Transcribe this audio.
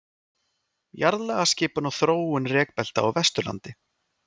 Jarðlagaskipan og þróun rekbelta á Vesturlandi.